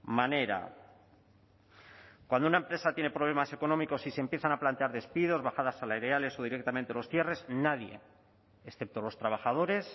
manera cuando una empresa tiene problemas económicos y se empiezan a plantear despidos bajadas salariales o directamente los cierres nadie excepto los trabajadores